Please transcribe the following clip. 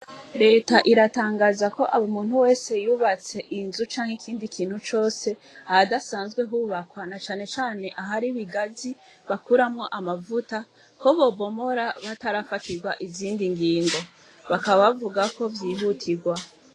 Leta iratangaza ko abo umuntu wese yubatse inzu canke ikindi kintu cose ahadasanzwe hubakwa na canecane aho ari bigazi bakuramwo amavuta ko bobomora batarafatirwa izindi ngingo bakabavuga ko vyihutirwa.